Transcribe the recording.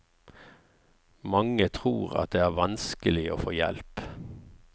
Mange tror at det er vanskelig å få hjelp.